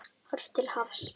Horft til hafs.